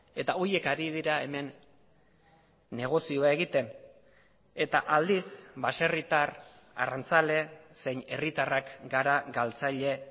eta horiek ari dira hemen negozioa egiten eta aldiz baserritar arrantzale zein herritarrak gara galtzaile